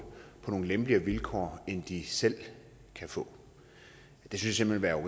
på nogle lempeligere vilkår end de selv kan få det synes vi ville være